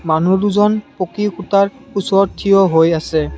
মানু্হ দুজন পঁকী সূতাৰ পিছত থিয় হৈ আছে।